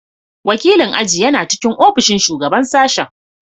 Wakilin aji yana cikin ofishin Shugaban Sashen.